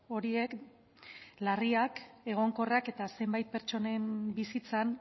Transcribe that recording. horiek larriak egonkorrak eta zenbait pertsonen bizitzan